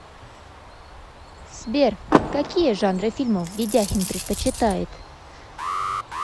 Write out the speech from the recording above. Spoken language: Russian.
сбер какие жанры фильмов ведяхин предпочитает